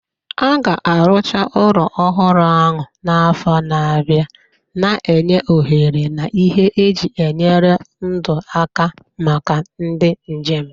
A ga-arụcha ụlọ ọhụrụ ahụ n'afọ na-abịa, na-enye ohere na ihe eji enyere ndụ aka maka ndị njem.